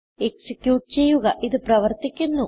execute ചെയ്യുക ഇത് പ്രവർത്തിക്കുന്നു